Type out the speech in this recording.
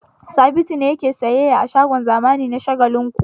Sabitu ne yake sayyayya a shagon zamani na Shagalinku.